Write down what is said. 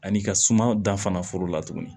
Ani ka suma da fana foro la tuguni